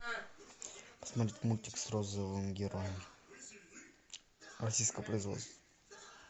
смотреть мультик с розовым героем российского производства